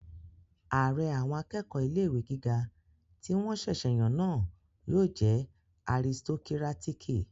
Ààrẹ àwọn akẹ́kọ̀ọ́ ilé-ìwé gíga tí wọ́n ṣẹ̀sẹ̀ yàn náà yóò jẹ́ aristokírátíkì